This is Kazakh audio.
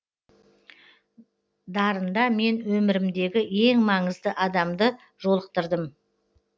дарында мен өмірімдегі ең маңызды адамды жолықтырдым